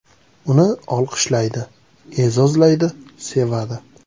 Uni olqishlaydi, e’zozlaydi, sevadi.